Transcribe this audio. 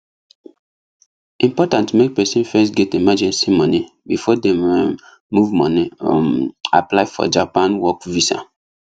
important make person first get emergency money before dem um move money um apply for japan work visa